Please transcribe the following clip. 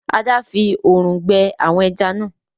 Ada! fí òòrùn gbẹ àwọn ejá nà.